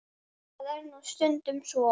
Það er nú stundum svo.